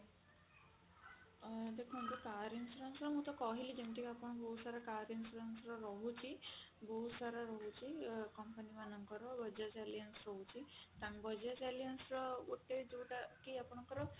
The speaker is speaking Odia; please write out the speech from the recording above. ଦେଖନ୍ତୁ car insurance ର ମୁଁ ତ କହିଲି ଯେମିତି ଆପଙ୍କ ବହୁତ ସାରା car insurance ର ରହୁଛି ବହୁତ ସାରା ରହୁଛି company ମାନଙ୍କର bajaj alliance ରହୁଛି bajaj alliance ର ଗୋଟେ ଯଉଟା କି ଆପଣଙ୍କର